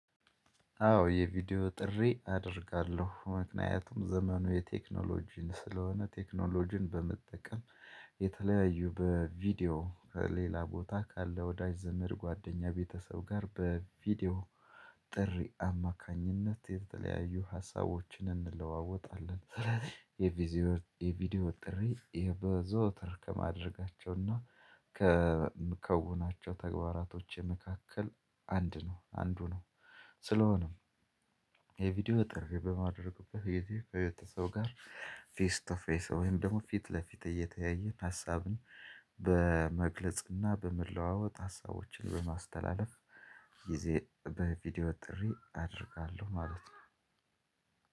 አዎ የቪዲዮ ጥሪ አደርጋለሁ ምክንያቱም ዘመኑ የቴክኖሎጂ ስለሆነ ቴክኖሎጂን በመጠቀም የተለያዩ በቪዲዮ ሌላ ቦታ ካለ ወዳጅ ዘመድ ጓደኛ ቤተሰብ ጋር በቪዲዮ ጥሪ አማካኝነት የተለያዩ ሀሳቦችን እንለዋወጣለን። ስለዚህ የቪዲዝዮ የቪዲዮ ጥሪ በዘወትር ከማድረጋቸውና ከምከውናቸው ተግባራቶች መካከል አንድ ነው አንዱ ነው። ስለሆነም የቪዲዮ ጥር በማድረግ በዩቲዩብ ከየት ሰው ጋር ፊስ ቱፌስ ወይም ደግሞ ፊት ለፊት እየተያየን ሀሳብን በመግለጽና በመለዋወጥ ሀሳቦችን በማስተላለፍ ጊዜ በቪዲዮ ጥሪ አደርጋለሁ። ማለት ነው።